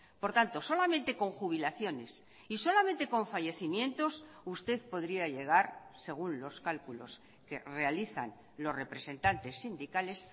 por tanto solamente con jubilaciones y solamente con fallecimientos usted podría llegar según los cálculos que realizan los representantes sindicales